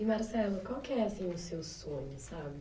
E, Marcelo, qual que é assim o seu sonho, sabe?